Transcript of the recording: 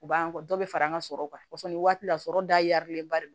U b'an kɔ dɔ bɛ fara an ka sɔrɔ ni waati la sɔrɔ darilenba de don